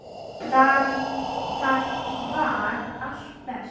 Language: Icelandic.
Þar var allt best.